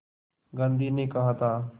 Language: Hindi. गांधी ने कहा था